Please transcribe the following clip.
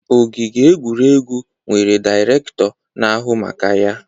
Ogige egwuregwu nwere Dairekto na ahụ maka ya